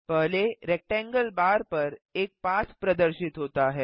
पहले rectangle bar पर एक पाथ प्रदर्शित होता है